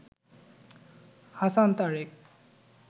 Hasan Tarique